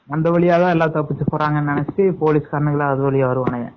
அந்த வழியா தான் எல்லா தப்பிக்கப்போறாங்கனு நினைச்சுட்டு போலீஸ் வந்துருவாங்க